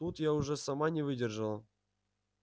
тут я уже сама не выдержала